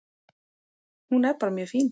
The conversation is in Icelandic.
Hún er bara mjög fín.